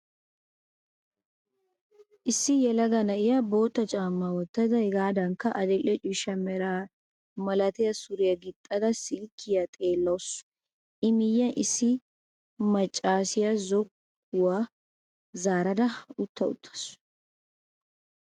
Issi yelaga na'iyaa bootta caamaa wottada hegaadankka adidhdhe ciishsha mera malatiyaa suriyaa gixxada silkkiyaa xeellawusu. I miyyiyan issi maccaasiyaa zokkuwaa zaarada utta wottaasu.